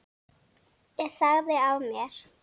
Ég sagði af mér.